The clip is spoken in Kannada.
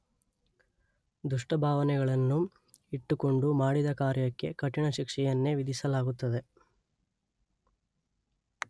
ದುಷ್ಟಭಾವನೆಗಳನ್ನು ಇಟ್ಟುಕೊಂಡು ಮಾಡಿದ ಕಾರ್ಯಕ್ಕೆ ಕಠಿಣ ಶಿಕ್ಷೆಯನ್ನೇ ವಿಧಿಸಲಾಗುತ್ತದೆ.